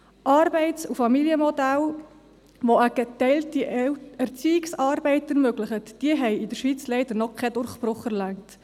Arbeits- und Familienmodelle, die eine geteilte Erziehungsarbeit ermöglichen, haben in der Schweiz leider noch keinen Durchbruch erlangt.